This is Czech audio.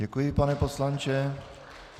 Děkuji, pane poslanče.